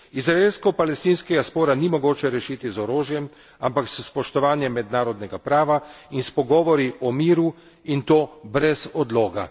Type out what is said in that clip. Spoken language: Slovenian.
Izraelsko palestinskega spora ni mogoče rešiti z orožjem, ampak s spoštovanjem mednarodnega prava in s pogovori o miru in to brez odloga.